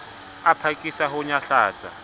a phakisa ho o nyahlatsa